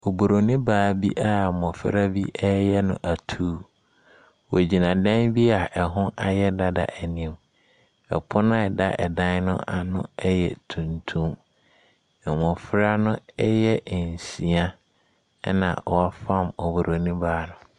Oburoni baa bi a mmɔfra bi reyɛ no atuu. Ɔgyina dan bi a ɛho ayɛ dada anim. Ɔpono a ɛda dan no ano yɛ tuntum. Mmɔfra no yɛ nsia, na wɔrefam oburoni baa no.